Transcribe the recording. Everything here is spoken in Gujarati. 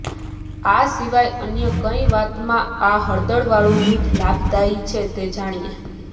આ સિવાય અન્ય કઈ વાતમાં આ હળદરવાળું દૂધ લાભદાયી છે તે જાણીએ